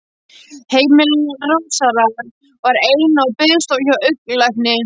Heimili Rósars var eins og biðstofa hjá augnlækni.